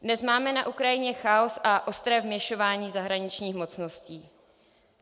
Dnes máme na Ukrajině chaos a ostré vměšován zahraničních mocností.